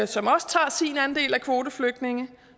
som også tager sin andel af kvoteflygtninge